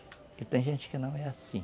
E tem gente que não é assim.